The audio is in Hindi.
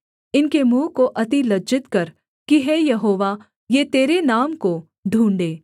इनके मुँह को अति लज्जित कर कि हे यहोवा ये तेरे नाम को ढूँढ़ें